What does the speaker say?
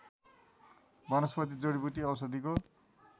वनस्पति जडिबुटी औषधिको